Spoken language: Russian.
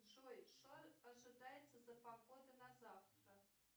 джой что ожидается за погода на завтра